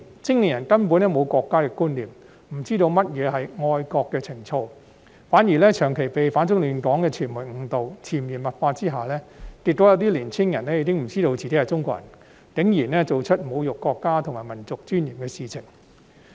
青年人根本沒有國家的觀念，不知道何謂愛國情操，反而長期被反中亂港的傳媒誤導，在潛移默化下，結果有些年輕人已不知道自己是中國人，竟然做出侮辱國家及民族尊嚴的事情。